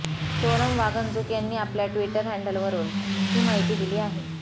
सोनम वांगचुक यांनी आपल्या ट्विटर हँडलवरून ही माहिती दिली आहे